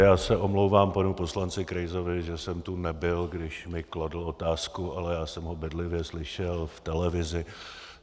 Já se omlouvám panu poslanci Krejzovi, že jsem tu nebyl, když mi kladl otázku, ale já jsem ho bedlivě slyšel v televizi.